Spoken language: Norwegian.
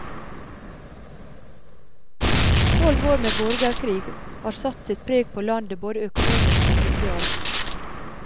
Tolv år med borgerkrig har satt sitt preg på landet både økonomisk og sosialt.